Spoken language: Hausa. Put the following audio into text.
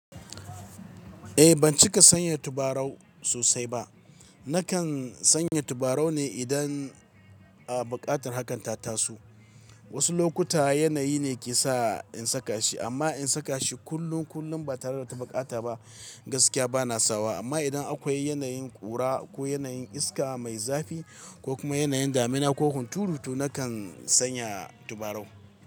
Eh ban cika sanya tabarau sosai ba. Nakan sanya tabarau ne idan a buƙatar hakan ta taso Wasu lokuta yanayi ne ke sa in saka shi, amma in saka shi kullun kullun ba tare da ta bukata ba gaskiya bana sawa. Amma idan akwai yanayin ƙura ko yanayin iska mai zafi ko kuma yanayin damina ko hunturu tu nakan sanya tabarau.